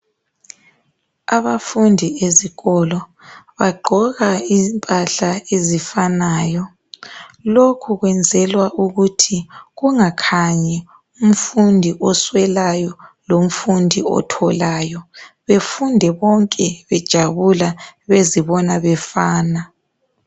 Abafundi ezikolo bagqoka impahla ezifanayo. Lokho kwenzelwa ukuthi kungakhanyi umfundi oswelayo lomfundi otholayo, befunde bonke bejabula bezibona befana.